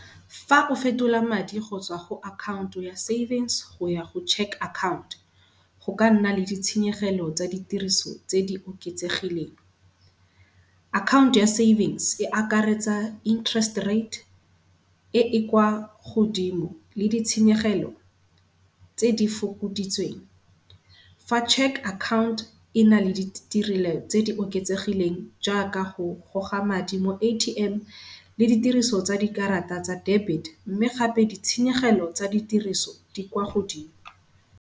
Fa o fetola madi go tswa go account-o ya savings goya go cheque account-o, go ka nna le ditshenyegelo tsa di tiriso tse di oketsegileng. Account-o ya savings e akaretsa interest rate e e kwa godimo le ditshenyegelo tse di fokoditsweng. Fa cheque account-o ena le di tse di oketsegileng jaaka go goga madi mo A_T_M le ditiriso tsa dikarata tsa debit mme gape di tshenyegelo tsa ditiriso di kwa godimo.